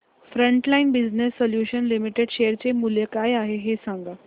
frontline Business Solutions Limited share चे मूल्य काय आहे हे सांगा